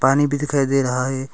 पानी भी दिखाई दे रहा है।